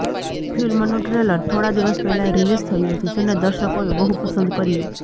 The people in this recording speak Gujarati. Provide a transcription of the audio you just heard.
ફિલ્મનુ ટ્રેલર થોડા દિવસ પહેલા રિલીઝ થયુ હતુ જેને દર્શકોએ બહુ પસંદ કર્યુ